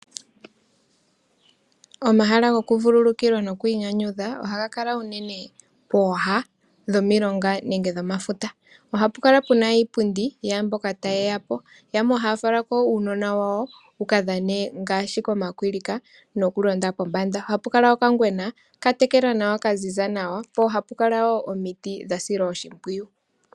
Omahala gokuvululukilwa nogokwiinyanyudha ohaga kala unene pooha dhomilonga ngenge dhomafuta. Ohapu kala pu na iipundi yaa mboka taye ya po. Yamwe ohaya fala ko uunona wawo wu ka dhane ngaashi komakwilika nokulonda pombanda. Ohapu kala okangwena ka tekelwa nawa ka ziza, po ohapu kala omiti dha silwa nawa oshimpwiyu.